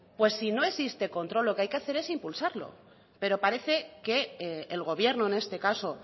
pues si no existe control lo que hay que hacer es impulsarlo pero parece que el gobierno en este caso